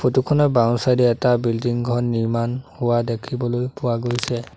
Photo খনৰ বাওঁ_চাইদে এটা বিল্ডিং ঘৰ নিৰ্মাণ হোৱা দেখিবলৈ পোৱা গৈছে।